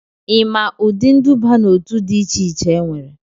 ị maa ụdị nduba n'otu dị iche iche enwere?